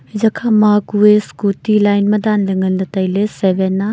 eya kha ma kue scooty line ma dan le ngan le taile seven a.